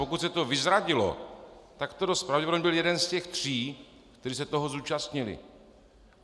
Pokud se to vyzradilo, tak to dost pravděpodobně byl jeden z těch tří, kteří se toho zúčastnili.